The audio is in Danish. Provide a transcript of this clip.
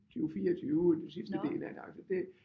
20 24 det sidste del af det altså det